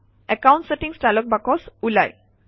account settings dialogue box ওলায়